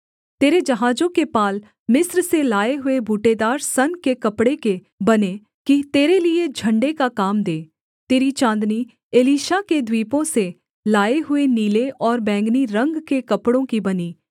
तेरे जहाजों के पाल मिस्र से लाए हुए बूटेदार सन के कपड़े के बने कि तेरे लिये झण्डे का काम दें तेरी चाँदनी एलीशा के द्वीपों से लाए हुए नीले और बैंगनी रंग के कपड़ों की बनी